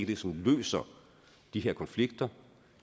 det som løser de her konflikter